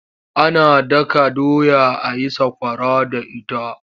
Ana daka doya a yi sakwara da ita.